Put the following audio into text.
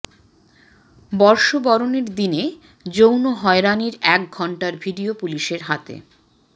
বর্ষবরণের দিনে যৌন হয়রানির এক ঘণ্টার ভিডিও পুলিশের হাতে